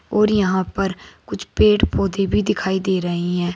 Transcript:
और यहां पर कुछ पेड़ पौधे भी दिखाई दे रही हैं।